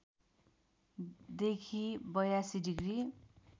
देखि ८२ डिग्री